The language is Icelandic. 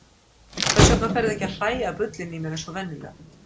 Hvers vegna ferðu ekki að hlæja að bullinu í mér eins og venjulega?